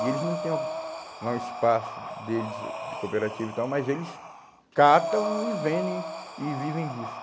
E eles não têm uma, lá um espaço deles de cooperativa e tal, mas eles catam e vendem e vivem disso.